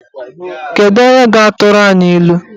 Kedu onye ga-atụrụ anyị ilu?